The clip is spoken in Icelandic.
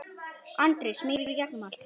Andri: Smýgur í gegnum allt?